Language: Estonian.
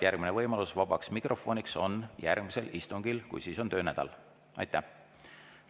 Järgmine võimalus vabaks mikrofoniks on järgmise istungil.